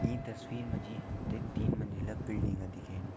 ईं तस्वीर मा जी हम ते तीन मंजिला बिल्डिंग दिखेणी।